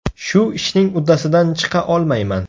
Shu ishning uddasidan chiqa olmayman.